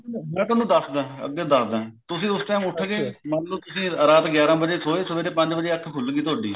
ਮੈਂ ਤੁਹਾਨੂੰ ਦੱਸਦਾ ਅੱਗੇ ਦੱਸਦਾ ਤੁਸੀਂ ਉਸ time ਉੱਠ ਗਏ ਮੰਨਲੋ ਤੁਸੀਂ ਰਾਤ ਗਿਆਰਾ ਵੱਜੇ ਸੋਏ ਸਵੇਰੇ ਪੰਜ ਵੱਜੇ ਅੱਖ ਖੁੱਲ ਗਈ ਤੁਹਾਡੀ